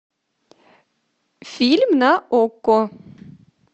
фильм на окко